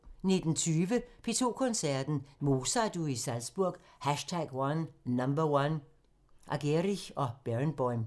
19:20: P2 Koncerten – Mozart-uge i Salzburg #1 – Argerich & Barenboim